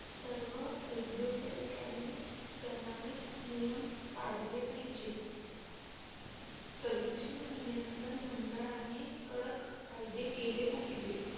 सर्व औद्योगकांनी प्रमाणित नियम पडले पाहिजे प्रदूषण नियंत्रण मंडळाने कडक कायदे केले पाहिजे